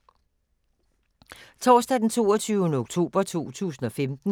Torsdag d. 22. oktober 2015